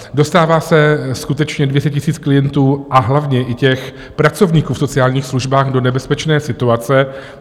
Dostává se skutečně 200 000 klientů, a hlavně i těch pracovníků v sociálních službách do nebezpečné situace.